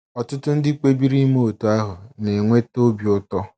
Ọtụtụ ndị kpebiri ime otú ahụ na - enweta obi ụtọ.